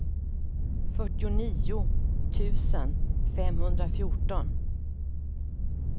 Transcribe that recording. fyrtionio tusen femhundrafjorton